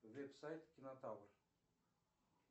веб сайт кинотавр